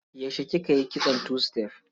Yaushe kika yi kitson tu-sitef?